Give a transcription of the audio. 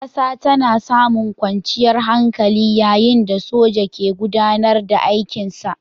ƙasa tana samun kwanciyar hankali yayin da soja ke gudAnar da aikin sa